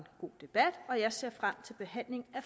god debat og jeg ser frem til behandlingen af